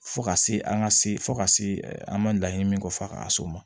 Fo ka se an ka se fo ka se an ma laɲini min kɔ fo a ka so ma